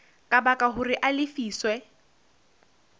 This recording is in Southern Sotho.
ka baka hore a lefiswe